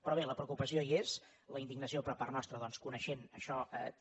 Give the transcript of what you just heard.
però bé la preocupació hi és la indignació per part nostra doncs coneixent això també